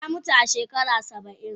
Ta muta a shekara Saba'in.